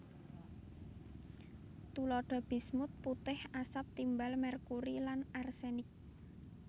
Tuladha bismut putih asap timbal merkuri lan arsenik